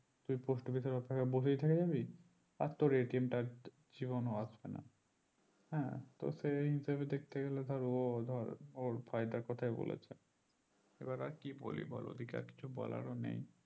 তুই post office এর অপেক্ষায় বসেই থেকে যাবি আর তোর তা জীবনে ও আসবে না হ্যাঁ তো সেই হিসাবে দেখতে গেলে ধর ও ওর ফায়দার কথা বলেছে এবার আর কি বলি ওদিকে আর কিছু বলার নেই